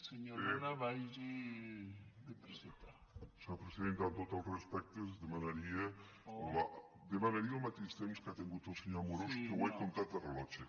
senyora presidenta amb tots els respectes demanaria el mateix temps que ha tingut el senyor amorós que ho he comptat de rellotge